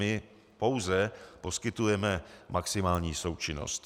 My pouze poskytujeme maximální součinnost.